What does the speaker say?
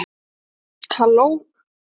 halló!